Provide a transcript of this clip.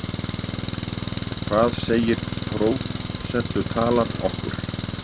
En hvað segir prósentutalan okkur?